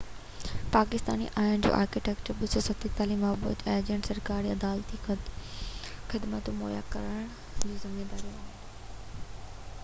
پاڪستاني آئين جي آرٽيڪل 247 موجب اهي ايجنٽ سرڪاري ۽ عدالتي خدمتون مهيا ڪرڻ جا ذميوار آهن